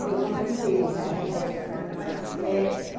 Foi com limpeza, é. E onde que a senhora trabalhava nessa época?